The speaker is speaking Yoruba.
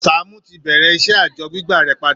Sàámú ti bẹ̀rẹ̀ iṣẹ́ àjọ gbígbà rẹ̀ padà